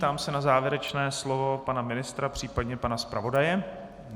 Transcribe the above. Ptám se na závěrečné slovo pana ministra, případně pana zpravodaje.